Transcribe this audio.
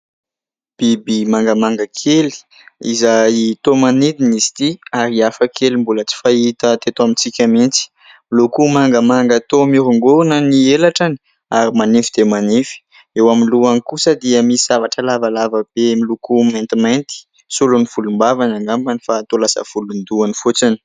Biby mangamanga kely izay toa manidina izy itỳ ary hafa kely mbola tsy fahita teto amintsika mihitsy. Miloko mangamanga toa mihorongorona ny elatrany ary manify dia manify. Eo amin'ny lohany kosa dia misy zavatra lavalava be miloko maitimainty, solon'ny volombavany angambany fa toa lasa volondohany fotsiny.